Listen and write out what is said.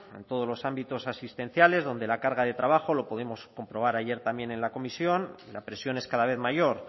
en todos los ámbitos asistenciales donde la carga de trabajo lo pudimos comprobar ayer también en la comisión la presión es cada vez mayor